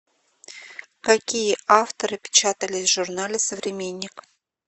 какие авторы печатались в журнале современник